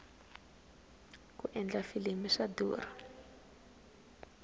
ku endla filimi swa durha